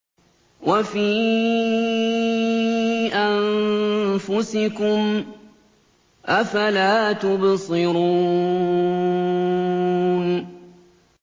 وَفِي أَنفُسِكُمْ ۚ أَفَلَا تُبْصِرُونَ